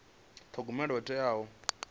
thogomela ho teaho na u